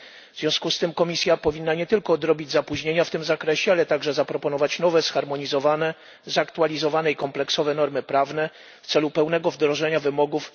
W związku z tym Komisja powinna nie tylko odrobić opóźnienia w tym zakresie, ale także zaproponować nowe, zharmonizowane, zaktualizowane i kompleksowe normy prawne w celu pełnego wdrożenia wymogów